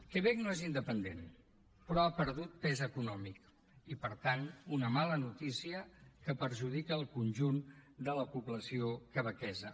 quebec no és independent però ha perdut pes econòmic i per tant una mala notícia que perjudica el conjunt de la població quebequesa